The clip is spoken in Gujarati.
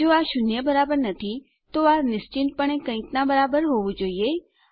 જો આ શૂન્ય બરાબર નથી તો આ નિશ્ચિતપણે કઈક નાં બરાબર હોવું જોઈએ